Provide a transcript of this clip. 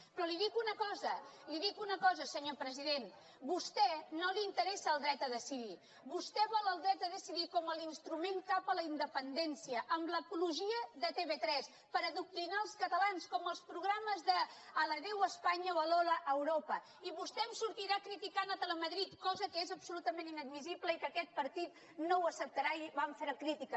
però li dic una cosa senyor president a vostè no li interessa el dret a decidir vostè vol el dret a decidir com a instrument cap a la independència amb l’apologia de tv3 per adoctrinar els catalans com els programes d’sortirà criticant telemadrid cosa que és absolutament inadmissible i que aquest partit no ho acceptarà i vam fer ne crítica